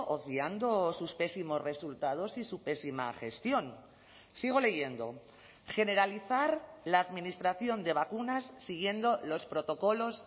obviando sus pésimos resultados y su pésima gestión sigo leyendo generalizar la administración de vacunas siguiendo los protocolos